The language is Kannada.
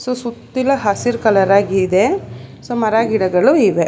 ಸುತ್ತಿಲ ಹಸಿರ್ ಕಲರ್ ಆಗಿದೆ ಸೋ ಮರಗಿಡಗಳು ಇವೆ.